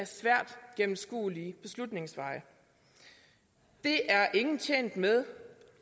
svært gennemskuelige beslutningsveje det er ingen tjent med